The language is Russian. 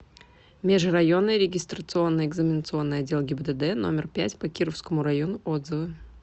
межрайонный регистрационно экзаменационный отдел гибдд номер пять по кировскому району отзывы